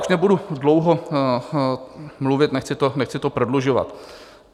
Už nebudu dlouho mluvit, nechci to prodlužovat.